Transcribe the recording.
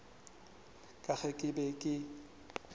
ka ge ke be ke